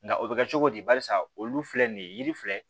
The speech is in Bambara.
Nka o bɛ kɛ cogo di barisa olu filɛ nin ye yiri fila